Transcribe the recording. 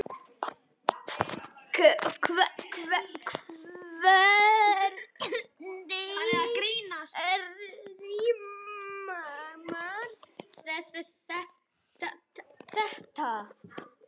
Hvernig rímar þetta?